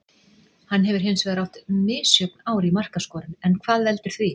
Hann hefur hinsvegar átt misjöfn ár í markaskorun en hvað veldur því?